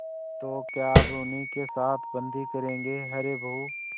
तो क्या अब उन्हीं के साथ बदी करेंगे अरे बहू